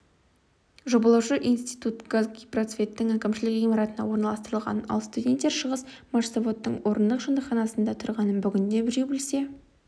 жобалаушы институт казгипроцветтің әкімшілік ғимаратына орналастырылғанын ал студенттер шығысмашзаводтың орындық жатақханасында тұрғанын бүгінде біреу білсе